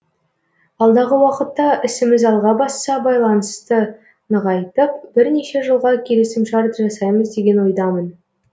алдағы уақытта ісіміз алға басса байланысты нығайтып бірнеше жылға келісімшарт жасаймыз деген ойдамын